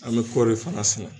An bɛ kɔɔri ye fana sɛnɛ